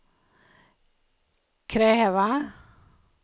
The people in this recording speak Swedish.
kräva